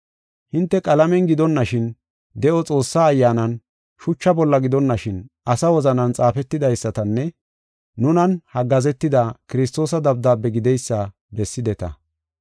Hinte qalamen gidonashin, de7o Xoossaa Ayyaanan, shucha bolla gidonashin, asa wozanan xaafetidaysatanne nunan haggaazetida Kiristoosa dabdaabe gideysa bessideta.